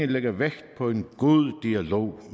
lægger vægt på en god dialog